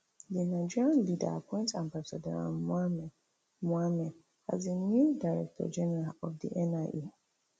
di nigerian leader appoint ambassador um mohammed mohammed as di new director general of di nia